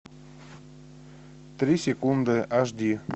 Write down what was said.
три секунды аш ди